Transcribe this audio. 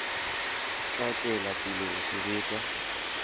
tla tswela pele ho sebetsa